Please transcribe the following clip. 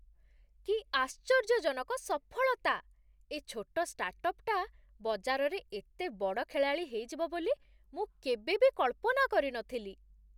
କି ଆଶ୍ଚର୍ଯ୍ୟଜନକ ସଫଳତା! ଏ ଛୋଟ ଷ୍ଟାର୍ଟଅପ୍ଟା ବଜାରରେ ଏତେ ବଡ଼ ଖେଳାଳି ହେଇଯିବ ବୋଲି ମୁଁ କେବେ ବି କଳ୍ପନା କରିନଥିଲି ।